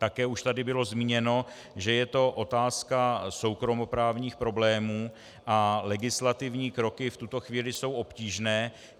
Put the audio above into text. Také už tady bylo zmíněno, že je to otázka soukromoprávních problémů a legislativní kroky v tuto chvíli jsou obtížné.